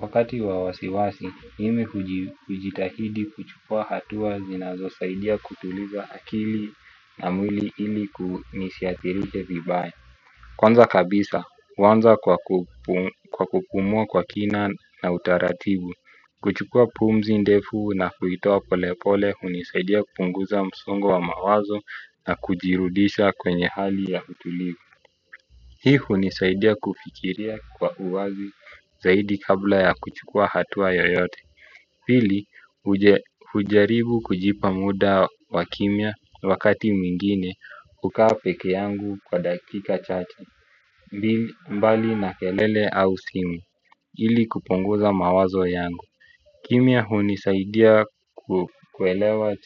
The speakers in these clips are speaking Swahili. Wakati wa wasiwasi, mimi hujitahidi kuchukua hatuwa zinazo saidia kutuliza akili na mwili ili kunisiathirishe vibaye. Kwanza kabisa, huanza kwa kupumua kwa kina na utaratibu. Kuchukua pumzi ndefu na kuitoa pole pole hunisaidia kupunguza msongo wa mawazo na kujirudisha kwenye hali ya utulivu. Hii hunisaidia kufikiria kwa uwazi zaidi kabla ya kuchukua hatua yoyote pili hujaribu kujipa muda wa kimia wakati mwingine kukaa peke yangu kwa dakika chache. Mbali na kelele au simu ili kupunguza mawazo yangu kimia hunisaidia kuelewa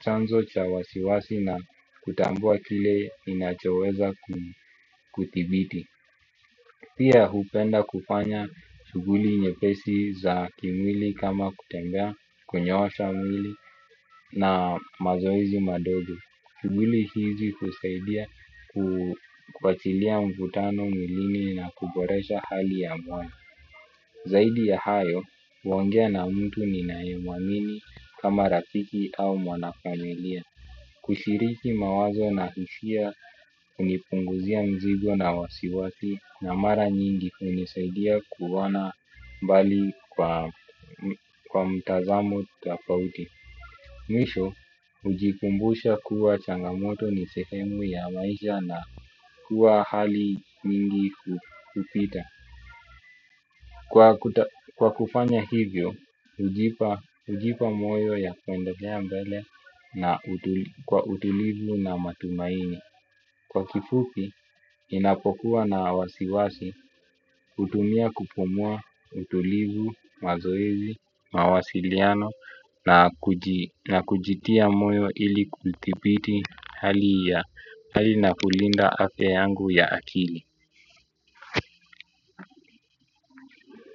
chanzo cha wasiwasi na kutambua kile ninachoweza kuthibiti. Pia hupenda kufanya chuguli nyepesi za kimwili kama kutembea kunyoosha mwili na mazoezi madogo shuguli hizi husaidia kuachilia mvutano milini na kuboresha hali ya mwana. Zaidi ya hayo, huongea na mtu ninae mwamini kama rafiki au mwanafamilia. Kushiriki mawazo na hushia unipunguzia mzigo na wasiwasi na mara nyingi hunisaidia kuona mbali kwa mtazamo tafauti. Mwisho, hujikumbusha kuwa changamoto ni sehemu ya maisha na kuwa hali nyingi hupita. Kwa kufanya hivyo, hujipa moyo ya kuendelea mbele na kwa utulivu na matumaini. Kwa kifupi, inapokuwa na wasiwasi, utumia kupumua utulivu, mazoezi, mawasiliano na kujitia moyo ili kulidhipiti hali na kulinda afya yangu ya akili.